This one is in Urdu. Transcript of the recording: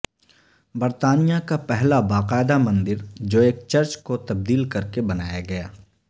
برطانیہ کا پہلا باقاعدہ مندر جو ایک چرچ کو تبدیل کر کے بنایا گیا